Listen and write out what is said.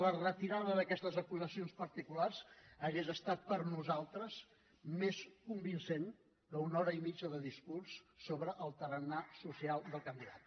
la retirada d’aquestes acusacions particulars hauria estat per nosaltres més convincent que una hora i mitja de discurs sobre el tarannà social del candidat